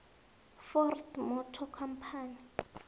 ford motor company